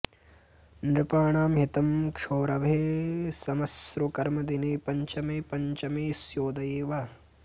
नृपाणां हितं क्षौरभे श्मश्रुकर्म दिने पञ्चमे पञ्चमेऽस्योदये वा